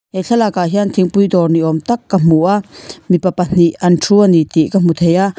he thlalak ah hian thingpui dawr ni awm tak ka hmu a mipa pahnih an thu a ni tih ka hu thei a.